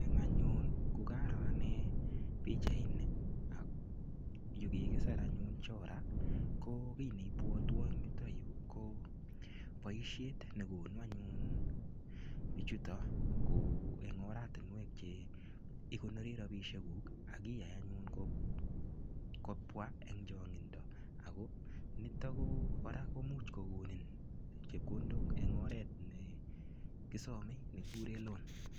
Eng anyun ko karoo anne pichaini ak yukigisir anyun Chora ko kiy nepwotwon yuto yu ko boisiet ne konu anyun biichuto kou eng oratinwek che igonori rapisiekuk ak iyai anyun kopwa eng chongindo ago nitok ko kora komuch kogonin chepkondok eng oret ne kisomei nekiguren loan.